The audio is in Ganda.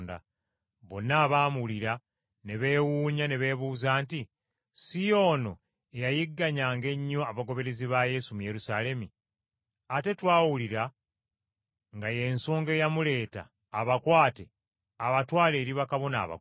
Bonna abaamuwulira ne beewuunya, ne beebuuza nti, “Si y’ono eyayigganyanga ennyo abagoberezi ba Yesu mu Yerusaalemi? Ate twawulira nga yeesonga eyamuleeta abakwate abatwale eri bakabona abakulu.”